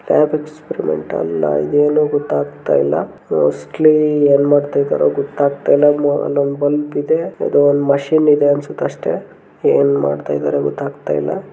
Experiment ಅಲ್ಲಾ ಇದು ಏನೋ ಗೊತ್ತಾಗತ್ತಾ ಇಲ್ಲಾ ಮೋಸ್ಟ್ಲಿ ಏನ ಮಾಡತ್ತಿದರೆ ಗೊತ್ತಾಗತ್ತಾ ಇಲ್ಲಾ ಅಲ್ಲೊಂದ ಬಲ್ಬ್ ಇದೆ ಇದು ಒಂದು ಮಷೀನ್ ಇದೆ ಅನ್ನಸುತ್ತೆ ಅಷ್ಟೇ ಏನ ಮಾಡತ್ತಿದರೆ ಗೊತ್ತಾಗತ್ತಾಇಲ್ಲಾ.